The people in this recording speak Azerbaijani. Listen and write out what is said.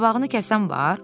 Qabağını kəsən var?